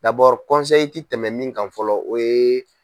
tɛ tɛmɛ min kan fɔlɔ o ye